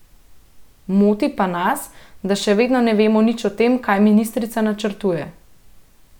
Moti pa nas, da še vedno ne vemo nič o tem, kaj ministrica načrtuje.